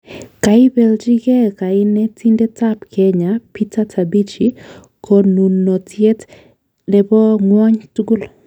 Kaipelchi geeh kanetindet ab Kenya Peter Tabichi konunotiet nebo ng'wony tukul